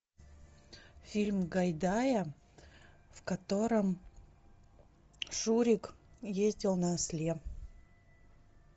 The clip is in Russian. фильм гайдая в котором шурик ездил на осле